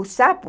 O sapo